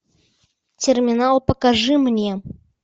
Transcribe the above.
терминал покажи мне